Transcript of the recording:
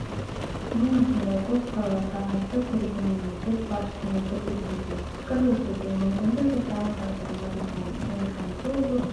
мен осындай көпқырлы талантты көреген мемлекет басшысымен тілдесуге пікірлесуге мүмкіндік жасаған тағдырыма ризамын және алматы облысы